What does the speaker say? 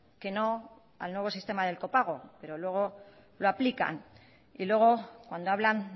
que no al nuevo sistema del copago pero luego lo aplican y luego cuando hablan